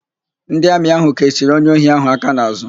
Ndị Amị ahụ kechiri onye ohi ahụ aka n'àzụ́.